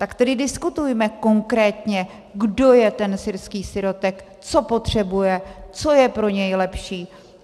Tak tedy diskutujme konkrétně, kdo je ten syrský sirotek, co potřebuje, co je pro něj lepší.